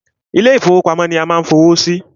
Ilé ìfọwọ́pamo ni a ma ń fowó sí.